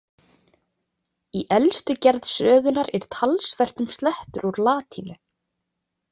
Í elstu gerð sögunnar er talsvert um slettur úr latínu.